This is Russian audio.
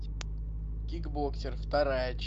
кикбоксер вторая